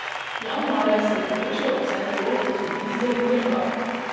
Januarja se je povečal obseg vlog gospodinjstev in države.